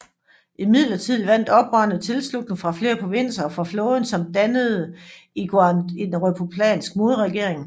Imidlertid vandt oprørerne tilslutning fra flere provinser og fra flåden samt dannede i Guangzhou en republikansk modregering